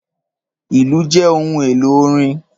Ìlù jẹ ohun elo orin.